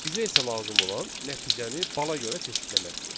Bizə isə lazım olan nəticəni bala görə çeşidləməkdir.